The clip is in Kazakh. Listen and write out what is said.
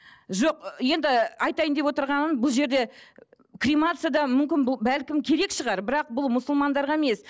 жоқ ы енді айтайын деп отырғаным бұл жерде кремация да мүмкін бұл бәлкім керек шығар бірақ бұл мұсылмандарға емес